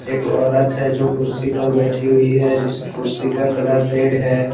एक औरत है जो कुर्सी पर बैठी हुई है जिस कुर्सी का कलर रेड है।